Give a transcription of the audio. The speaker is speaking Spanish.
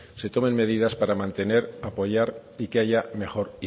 se tomen medidas para mantener apoyar y que haya mejor